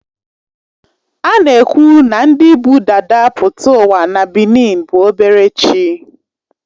A na-ekwu na ndị bụ dada pụta ụwa na benin bụ obere chi